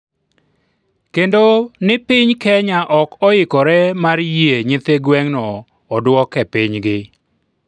kendo ni piny Kenya ok oikore mar yie nyithi gwen'go oduok e pinygi